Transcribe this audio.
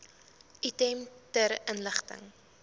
item ter inligting